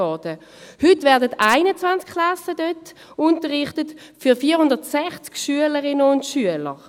Heute werden dort 460 Schülerinnen und Schüler in 21 Klassen unterrichtet.